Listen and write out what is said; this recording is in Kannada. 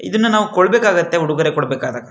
ಇದನ್ನ ನಾವು ಕೊಡಬೇಕಾಗತ್ತೆ ಉಡುಗೊರೆ ಕೊಡ್ಬೇಕಾಗುತ್ತೆ-